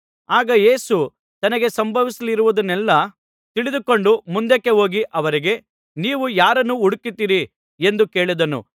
ಆಗ ಯೇಸು ತನಗೆ ಸಂಭವಿಸಲಿರುವುದನ್ನೆಲ್ಲಾ ತಿಳಿದುಕೊಂಡು ಮುಂದಕ್ಕೆ ಹೋಗಿ ಅವರಿಗೆ ನೀವು ಯಾರನ್ನು ಹುಡುಕುತ್ತೀರಿ ಎಂದು ಕೇಳಿದನು